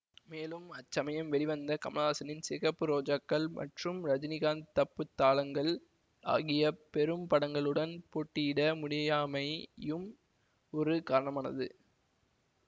மேலும் அச்சமயம் வெளிவந்த கமலஹாசனின் சிகப்பு ரோஜாக்கள் மற்றும் ரஜினிகாந்த் தப்புத் தாளங்கள் ஆகிய பெரும் படங்களுடன் போட்டியிட முடியாமை யும் ஒரு காரணமானது